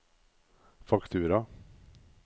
faktura